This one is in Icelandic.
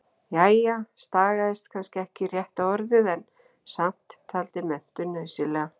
Jæja, stagaðist kannski ekki rétta orðið, en samt- taldi menntun nauðsynlega.